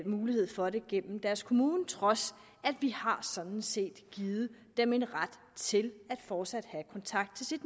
mulighed for det gennem deres kommune trods at vi sådan set har givet dem en ret til fortsat at have kontakt til